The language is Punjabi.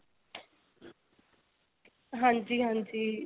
ਹਾਂਜੀ ਹਾਂਜੀ.